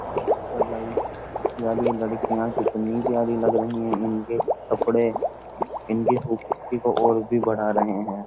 क्या बात है भाई यार यह लड़कियां कितनी प्यारी लग रही हैं इनके कपड़े इनकी खूबसूरती को और भी बढ़ा रहे हैं।